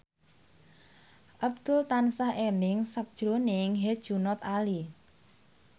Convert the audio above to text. Abdul tansah eling sakjroning Herjunot Ali